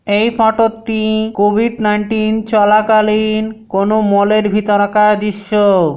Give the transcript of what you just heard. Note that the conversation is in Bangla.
এই ফটো তি কোভিড নাইন্টিন চলাকালীন কোনো মল -এর ভিতরকার দৃশ্য।